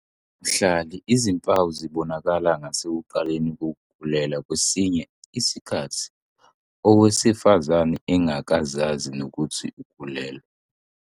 Mhlari, izimpawu zibonakala ngasekuqaleni kokukhulelwa, kwesinye isikhathi owesifazane engakazazi nokuthi ukhulelwe.